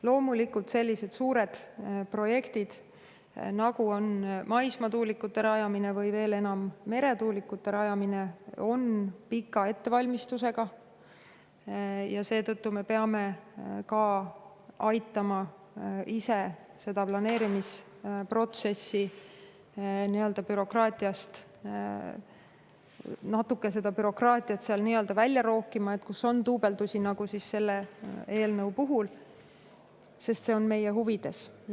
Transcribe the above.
Loomulikult on sellised suured projektid, nagu on maismaatuulikute rajamine, või veel enam, meretuulikute rajamine, pika ettevalmistusajaga ja seetõttu peame aitama bürokraatiat planeerimisprotsessist natuke välja rookida – vaatama, kus on duubeldusi, nagu selle eelnõu puhul –, sest see on meie huvides.